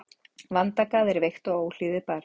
Vandagað er veikt og óhlýðið barn.